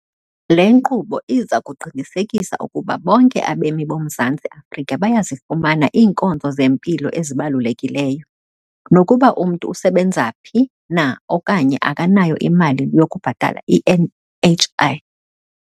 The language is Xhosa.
Le nkqubo iza kuqinisekisa ukuba bonke abemi boMzantsi Afrika bayazifumana iinkonzo zempilo ezibalukelekileyo, nokuba umntu usebenza phi na okanye akanayo imali yokubhatala i-NHI.